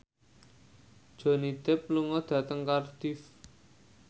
Johnny Depp lunga dhateng Cardiff